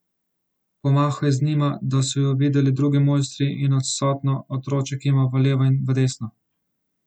Pomahal je z njima, da so ju videli drugi mojstri, in odsotno, otročje kimal v levo in v desno.